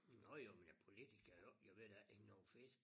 Nå jo men ja politikere og ved da ikke noget om fisk